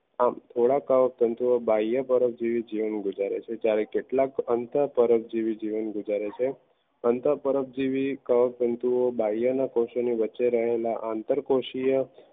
um થોડાક કવક તંતુઓ બઈઓ જીવન ગુજારે છે જ્યારે કેટલાક અંતપાર્જ જીવન ગુજારે છે સંતાપારક જેવી કવક તંતુઓ બાયો ના કૌશલ્યા વચ્ચે રહેલા અંતરકોશિયા